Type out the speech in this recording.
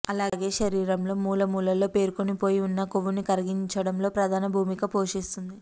అలాగే శరీరంలో మూల మూలల్లో పేరుకుని పోయి ఉన్న కొవ్వుని కరిగించడంలో ప్రధాన భూమిక పోషిస్తుంది